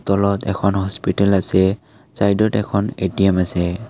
তলত এখন হস্পিটেল আছে ছাইডত এখন এ_টি_এম আছে।